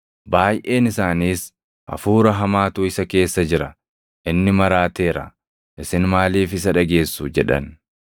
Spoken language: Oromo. Baayʼeen isaaniis, “Hafuura hamaatu isa keessa jira; inni maraateera. Isin maaliif isa dhageessu?” jedhan.